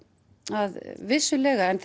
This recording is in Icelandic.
að vissulega en